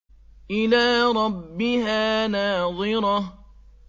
إِلَىٰ رَبِّهَا نَاظِرَةٌ